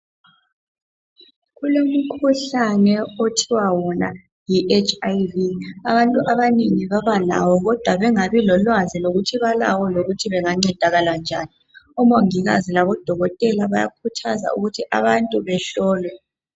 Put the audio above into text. Kulomkhuhlane othiwa wona yi HIV. Abantu abanengi babalawo kodwa bengabi lolwazi lokuthi balawo lokuthi bengancedakala njani .Omongikazi labodokotela bayakhuthaza ukuthi abantu behlolwe.